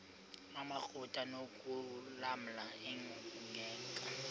amakrot anokulamla ingeka